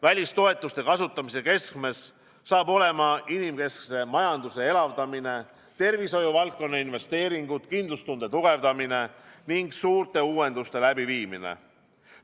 Välistoetuste kasutamise keskmes saavad olema inimkeskse majanduse elavdamine, tervishoiuvaldkonna investeeringud, kindlustunde tugevdamine ning suurte uuenduste läbiviimine.